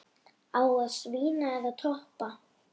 Á að svína eða toppa?